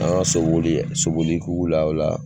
An ka soboli soboli ekipu la ola